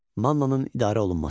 Mannanın idarə olunması.